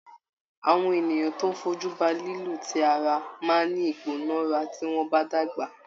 Àwọn ènìyàn tó fojú ba lílù ti ara máa ní ìgbónára tí wọ́n bá dàgbà.